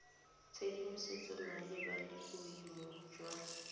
tshedimosetso malebana le boemo jwa